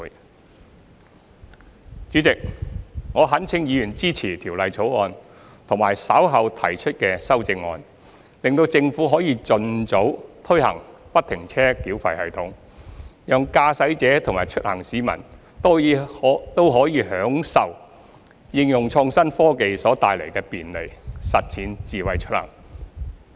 代理主席，我懇請議員支持《條例草案》和稍後提出的修正案，使政府可以盡早推行不停車繳費系統，讓駕駛者和出行市民都可享受應用創新科技所帶來的便利，實踐"智慧出行"。